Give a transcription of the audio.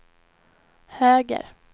höger